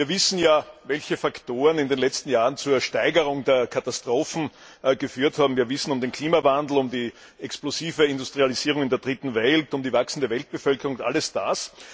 Wir wissen ja, welche Faktoren in den letzten Jahren zu einer Zunahme von Katastrophen geführt haben, wir wissen um den Klimawandel, um die explosive Industrialisierung in der Dritten Welt, um die wachsende Weltbevölkerung und all das.